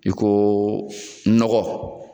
I ko nɔgɔ.